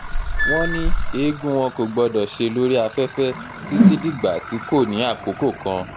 wọ́n ní eegun wọn kò gbọdọ̀ ṣe lórí afẹ́fẹ́ títí dìgbà tí kò ní àkókò kan